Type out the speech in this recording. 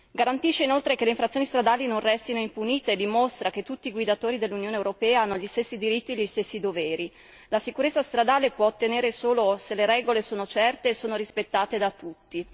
Garantisce, inoltre, che le infrazioni stradali non restino impunite e dimostra che tutti i guidatori dell'Unione europea hanno gli stessi diritti e gli stessi doveri. La sicurezza stradale si può ottenere solo se le regole sono certe e sono rispettate da tutti.